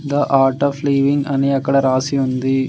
The Art of Living అని అక్కడ రాసి ఉంది.